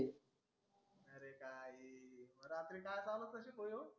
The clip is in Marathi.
काय मग रात्री काय चालवत अशील भो ह्यो.